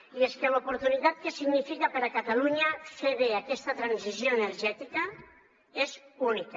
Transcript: i és que l’oportunitat que significa per a catalunya fer bé aquesta transició energètica és única